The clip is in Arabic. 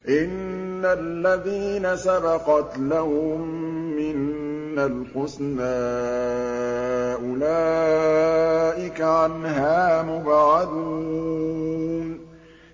إِنَّ الَّذِينَ سَبَقَتْ لَهُم مِّنَّا الْحُسْنَىٰ أُولَٰئِكَ عَنْهَا مُبْعَدُونَ